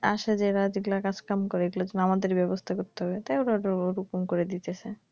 আসা জায়গা যেগুলা কাজ কাম করে এগুলার জন্য আমাদের বেবস্থা করতে হবে তাইজন্য এগুলা এরকম করে দিছে।